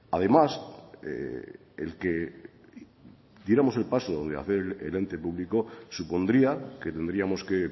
además el que diéramos el paso de hacer el ente público supondría que tendríamos que